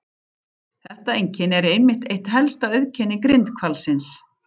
Þetta einkenni er einmitt eitt helsta auðkenni grindhvalsins.